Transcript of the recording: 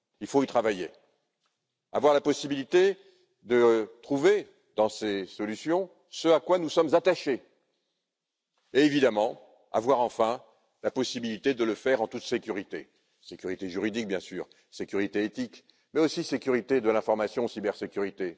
Il faut y travailler. Avoir la possibilité de trouver, dans ces solutions, ce à quoi nous sommes attachés. Enfin, évidemment, avoir la possibilité de le faire en toute sécurité sécurité juridique bien sûr, sécurité éthique, mais aussi sécurité de l'information, cybersécurité.